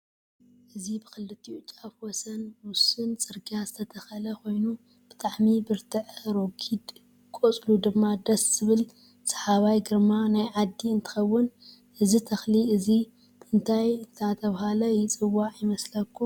እዚብክልትኡ ጫፍ ወሰን ውስን ፅርግያ ዝተተኸለ ኮይኑ ብጣዓሚ ብርትዕ ረግድ ቅፅሉ ድማ ድስ ዝብል ሰሓባይ ግርማ ናይ ዓዲ እንትከውን እዚ ተክሊ እዚ እንታይ እዳተበሃለ ይፅዋዕ ይመስለኩም?